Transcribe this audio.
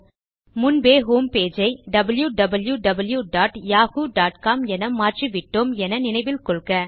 முன்பே ஹோம்பேஜ் ஐ wwwyahoocom என மாற்றிவிட்டோம் என நினைவில் கொள்க